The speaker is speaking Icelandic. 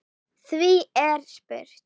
Því er spurt